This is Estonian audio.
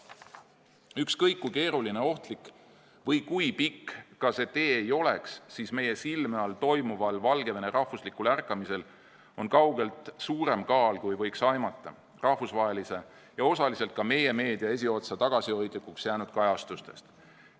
Ükskõik kui keeruline ja ohtlik või kui pikk see tee ka ei oleks, meie silme all toimuval Valgevene rahvuslikul ärkamisel on kaugelt suurem kaal, kui võiks aimata rahvusvahelise ja osaliselt ka meie meedia esiotsa tagasihoidlikuks jäänud kajastustest.